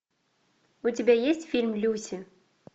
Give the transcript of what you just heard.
у тебя есть фильм люси